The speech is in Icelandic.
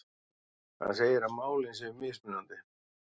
Hann segir að málin séu mismunandi